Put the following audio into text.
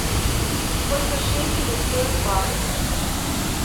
сколько шекелей стоит бакс